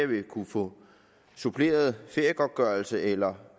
vil kunne få suppleret feriegodtgørelse eller